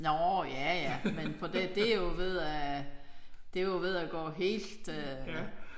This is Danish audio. Nåh ja ja men på det er jo ved at det er jo ved at gå helt øh